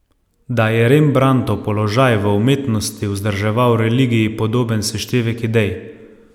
Da je Rembrandtov položaj v umetnosti vzdrževal religiji podoben seštevek idej.